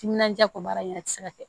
Timinandiya ko baara yɛrɛ ti se ka kɛ